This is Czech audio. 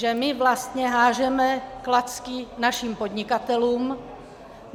Že my vlastně házíme klacky našim podnikatelům.